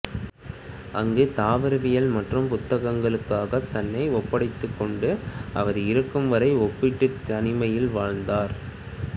அங்குத் தாவரவியல் மற்றும் புத்தகங்களுக்காகத் தன்னை ஒப்படைத்துக் கொண்டு அவர் இறக்கும் வரை ஒப்பீட்டுத் தனிமையில் வாழ்ந்தார்